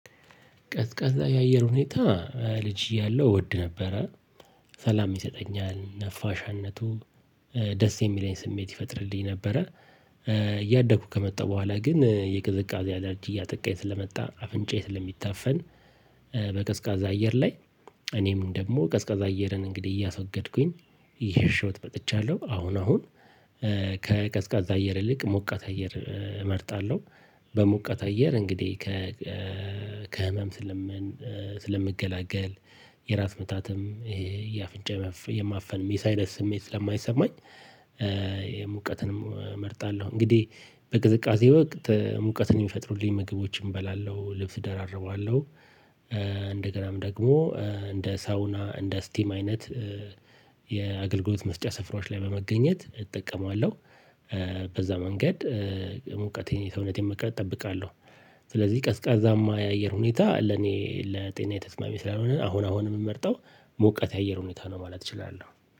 ቀዝቃዛ የአየር ሁኔታ ልጅ እያለሁ እወድ ነበረ። ሰላም ይሰጠኛል ነፋሻነቱ ደስ የሚለኝ ስሜት ይፈጥርልኝ ነበረ። እያደኩ ከመጣው በኋላ ግን የቅዝቃዜ አላርጅ እያጠቃኝ ስለመጣ አፍንጫዬ ስለሚታፈን። በቀዝቃዛ አየር ላይ። እኔም ደግሞ ቀዝቃዛ አየርን እንግዲህ እያሶገድኩኝ እየሸሸሁት መጥቻለሁ። አሁን አሁን ከቀዝቃዛ አየር ይልቅ ሞቃት አየር እመርጣለሁ። በሞቃት አየር እንግዲህ ከ ከህመም ስለምን ስለምገላገል የራስ ምታትም ይሄ የአፍንጫ የማፈን የሳይነስ ስሜት ስለማይሰማኝ። ሙቀትንም እመርጣለሁ እንግዲህ በቅዝቃዜ ወቅት ሙቀትን የሚፈጥሩልኝ ምግቦችን እበላለሁ ልብስ ደራርበዋለሁ። እንደገናም ደግሞ እንደ ሳውና እንደ ስቲም አይነት። የአገልግሎት መስጫ ስፍራዎች ላይ በመገኘት እጠቀማለሁ። በዛ መንገድ ሙቀቴን የሰውነት መቅረጥ እጠብቃለሁ። ስለዚህ ቀዝቃዛማ የአየር ሁኔታ ለኔ ለጤናየ ተስማሚ ስላልሆነ አሁን አሁን የምመርጠው ሞቃት የአየር ሁኔታ ነው ማለት እችላለሁ።